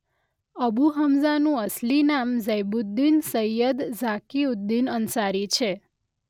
અબુ હમઝાનું અસલી નામ ઝૈબુદ્દીન સૈયદ ઝાકિઉદ્દીન અંસારી છે.